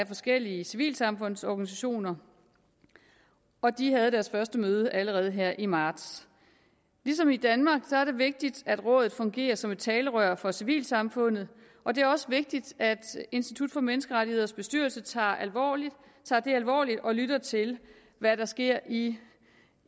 forskellige civilsamfundsorganisationer og de havde deres første møde allerede her i marts ligesom i danmark er det vigtigt at rådet fungerer som et talerør for civilsamfundet og det er også vigtigt at institut for menneskerettigheders bestyrelse tager det alvorligt og lytter til hvad der sker i